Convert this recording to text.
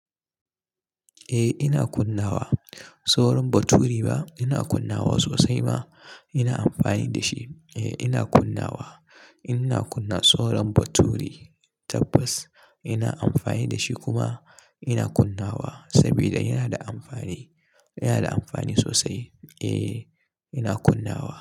Eh ina kunnawa sauran baturi ba ina kunnawa sosai ma ina amfani da shi. Eh ina kunnawa ina kunna sauran baturi tabbas ina amfani da shi kuma ina kunnawa saboda yana da amfani, yana da amfani sosai. Eh ina kunnawa.